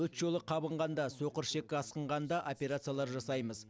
өт жолы қабынғанда соқырішекке асқынғанда операциялар жасаймыз